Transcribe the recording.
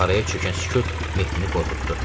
Mağaraya çökən sükut Mehdini qorxutdu.